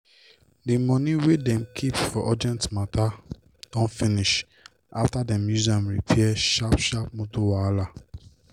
d money wey dem keep for urgent matta don finish afta dem use am repair sharp sharp motor wahala.